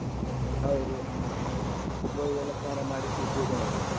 ಹೌದು ಗೋವಿಗೆಲ್ಲ ಸ್ನಾನ ಮಾಡಿಸಿ ಪೂಜೆ ಮಾಡುದು.